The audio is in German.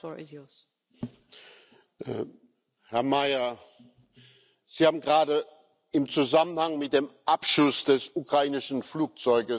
Herr Mayer! Sie haben gerade im Zusammenhang mit dem Abschuss des ukrainischen Flugzeugs von Pech gesprochen.